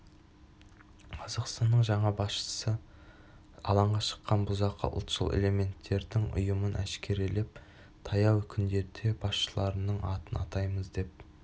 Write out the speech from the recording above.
қазақстанның жаңа басшысы алаңға шыққан бұзақы ұлтшыл элементтердің ұйымын әшкерелеп таяу күндерде басшыларының атын атаймыз деп